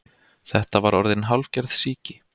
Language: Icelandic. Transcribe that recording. Þetta var orðin hálfgerð sýki.